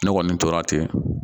Ne kɔni tora ten